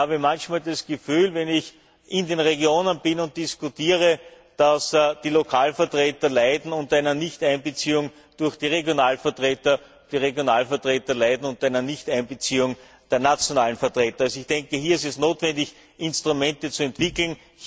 Ich habe manchmal das Gefühl, wenn ich in den Regionen bin und diskutiere, dass die Lokalvertreter unter einer Nichteinbeziehung durch die Regionalvertreter und die Regionalvertreter unter einer Nichteinbeziehung durch die nationalen Vertreter leiden. Hier ist es notwendig, Instrumente zu entwickeln.